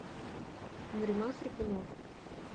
нариман хрипунов